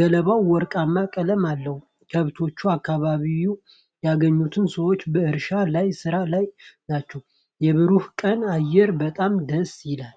ገለባው ወርቃማ ቀለም አለው። ከብቶች በአካባቢው ይገኛሉ። ሰዎች በእርሻው ላይ ሥራ ላይ ናቸው። የብሩህ ቀን አየር በጣም ደስ ይላል!